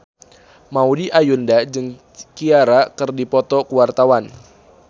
Maudy Ayunda jeung Ciara keur dipoto ku wartawan